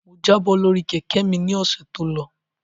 Mo jábọ́ lórí Kẹ̀kẹ́ mi ni ọ̀sẹ̀ tó lọ